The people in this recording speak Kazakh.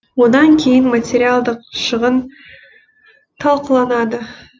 одан кейін материалдық шығын талқыланады